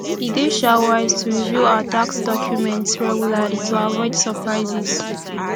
e dey um wise to review our tax documents regularly to avoid surprises